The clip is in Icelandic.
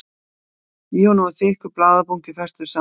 Í honum var þykkur blaðabunki, festur saman með spotta.